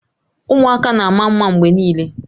Ụmụaka na-ama mma mgbe niile